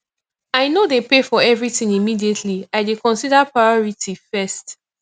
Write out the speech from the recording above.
i no dey pay for everytin immediately i dey consider priority first